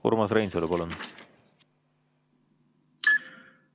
Urmas Reinsalu, palun!